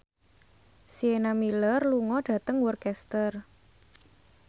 Sienna Miller lunga dhateng Worcester